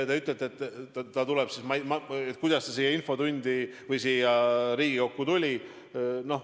Te küsite, kuidas siia Riigikokku tuli.